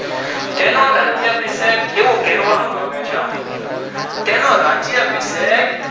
તેનું રાજ્ય ભીસન એવું કહેવામાં આવે છે તેનું રાજ્ય ભીસન